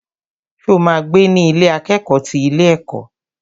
Ṣo ma gbé ní Ilé akẹ́kọ̀ọ́ ti ilé ẹ̀kọ́?